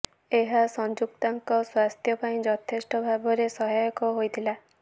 ଏହା ସଂଯୁକ୍ତାଙ୍କ ସ୍ୱାସ୍ଥ୍ୟ ପାଇଁ ଯଥେଷ୍ଟ ଭାବରେ ସହାୟକ ହୋଇଥିଲା